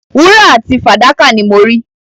Wúrà àti fàdákà ni mo rí.